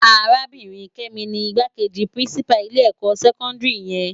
Arábirin Kemi ni Igbákéji pirinsipá ilè èkò sèkòndiri yèn